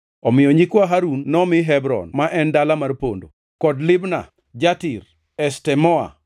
Omiyo nyikwa Harun nomi Hebron (ma en dala mar pondo), kod Libna, Jatir, Eshtemoa,